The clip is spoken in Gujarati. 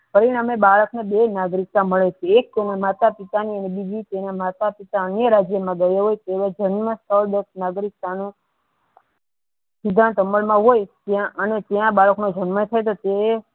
પરિણામે બાળકને બે નાગરિકતા મળે છે એક તેના માતા પિતા ની અને બીજી તેના માતા પિતા અન્ય રાજ્યો માં ગયા હોય તેવો જન્મ સ્થળ નાગરિકતાનો સિદ્ધાંત અમલ માં હોય અને ત્યાં બાળકનો જન્મ થતો તેઓ